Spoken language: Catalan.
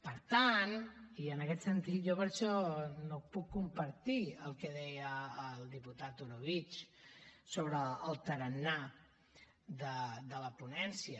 per tant i en aquest sentit jo per això no puc compartir el que deia el diputat orobitg sobre el tarannà de la ponència